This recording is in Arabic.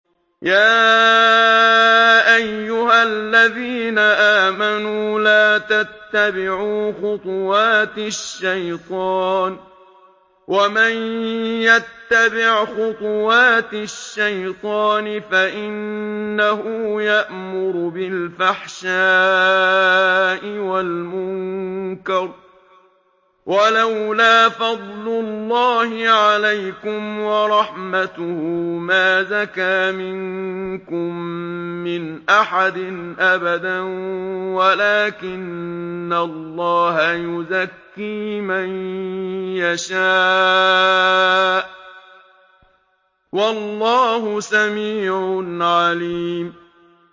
۞ يَا أَيُّهَا الَّذِينَ آمَنُوا لَا تَتَّبِعُوا خُطُوَاتِ الشَّيْطَانِ ۚ وَمَن يَتَّبِعْ خُطُوَاتِ الشَّيْطَانِ فَإِنَّهُ يَأْمُرُ بِالْفَحْشَاءِ وَالْمُنكَرِ ۚ وَلَوْلَا فَضْلُ اللَّهِ عَلَيْكُمْ وَرَحْمَتُهُ مَا زَكَىٰ مِنكُم مِّنْ أَحَدٍ أَبَدًا وَلَٰكِنَّ اللَّهَ يُزَكِّي مَن يَشَاءُ ۗ وَاللَّهُ سَمِيعٌ عَلِيمٌ